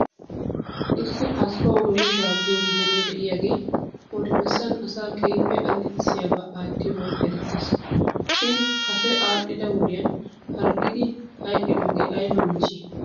Issi asfaw mesheshaa giyoo bitane de'iyaagee odibessan asaa keehippe allaxxissiyaaba aattiyoogan erettes shin kase aadhdhida wodiyan harggidi hayqqidoogee ayba michchidee?